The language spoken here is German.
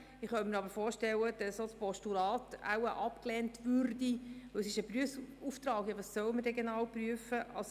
Ich könnte mir aber vorstellen, dass wohl auch ein Postulat abgelehnt würde, denn es ist ein Prüfungsauftrag, bei dem nicht klar ist, was wir denn genau prüfen sollen.